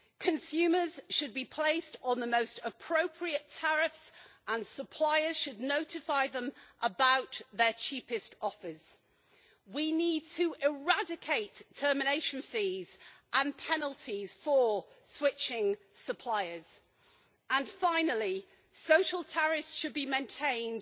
Consumers should be placed on the most appropriate tariffs, and suppliers should notify them about their cheapest offers. We need to eradicate termination fees and penalties for switching suppliers. And finally, social tariffs should be maintained